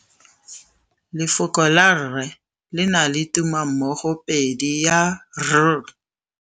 Lefoko la rre, le na le tumammogôpedi ya, r.